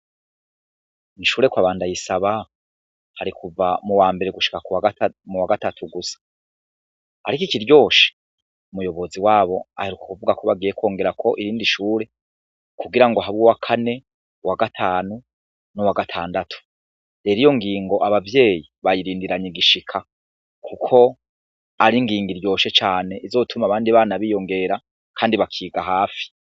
Kw'ishure kwa ba Ndayisaba hari kuva mu wambere gushika mu wagatatu gusa, ariko ikiryoshe umuyobozi wabo aheruka kuvuga ko bagiye kongerako irindi shure kugira ngo habe uwakane, uwagatanu, n'uwagatandatu, rero iyo ngingo abavyeyi bayirindiranye igishika kuko ari ingingo iryoshe cane izotuma abandi bana biyongera kandi bakiga hafi.